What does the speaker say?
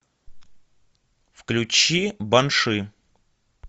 включи банши